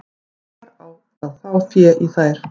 Hvar á að fá fé í þær?